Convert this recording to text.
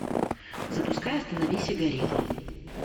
запускай остановись и гори